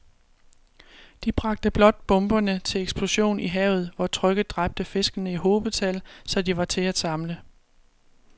De bragte blot bomberne til eksplosion i havet, hvor trykket dræbte fiskene i hobetal, så de var til at samle